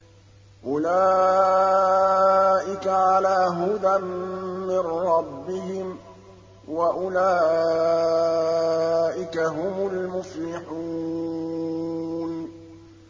أُولَٰئِكَ عَلَىٰ هُدًى مِّن رَّبِّهِمْ ۖ وَأُولَٰئِكَ هُمُ الْمُفْلِحُونَ